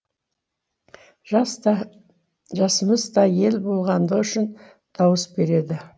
жас та жасамыс та ел болашағы үшін дауыс берді